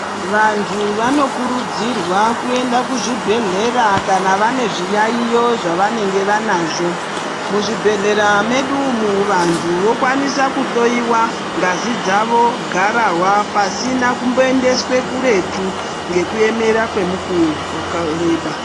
Vantu vanokurudzirwa kuenda kuzvibhedhlera kana vane zviyaiyo zvavanenge vanazvo muzvibhedhlera medu umu vantu vokwanisa kuhloiwa ngazi dzawo garahwa pasina kumboendeswa kuretu nekuemera ngemukuwo wakareba.